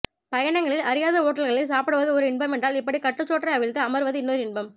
பயணங்களில் அறியாத ஓட்டல்களில் சாப்பிடுவது ஓர் இன்பம் என்றால் இப்படி கட்டுச்சோற்றை அவிழ்த்து அமர்வது இன்னொரு இன்பம்